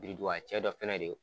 Biridugcɛ dɔ fana de ye.